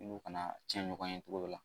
N'u kana cɛn ɲɔgɔn ye togo dɔ la